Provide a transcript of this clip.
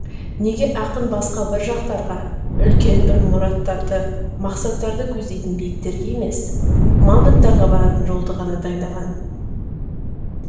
неге ақын басқа бір жақтарға үлкен бір мұраттарды мақсаттарды көздейтін биіктерге емес мамонттарға баратын жолды ғана таңдаған